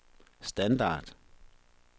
standard